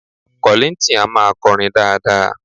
Kọ̀líńtìn a máa kọrin dáadáa